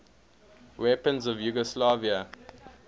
weapons of yugoslavia